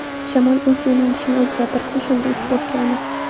Shamol o‘z yo‘nalishini o‘zgartirsa shunda ish boshlaymiz.